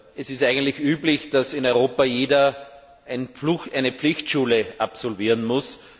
Es ist eigentlich üblich, dass in Europa jeder eine Pflichtschule absolvieren muss.